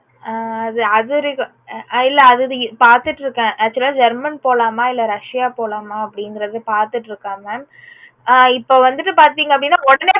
ஆஹ் அது இல்ல அது பாத்துட்டு இருக்கேன் அதுல German போலாமா இல்ல russia போலாமான்னு பாத்துட்டு இருக்கோம் mam ஆஹ் இப்போ வந்துட்டு பாத்தீங்க அப்புடின்னு உடனே